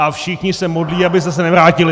A všichni se modlí, abyste se nevrátili!